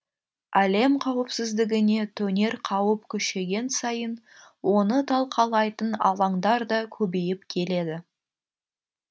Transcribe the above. әлем қауіпсіздігіне төнер қауіп күшейген сайын оны талқылайтын алаңдар да көбейіп келеді